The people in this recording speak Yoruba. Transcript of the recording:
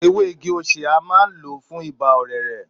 Èwè ìgí òsé a maà ń lò fùn Ìbà ọ̀rẹrẹ